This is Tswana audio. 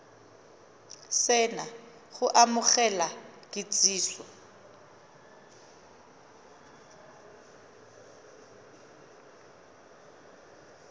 se na go amogela kitsiso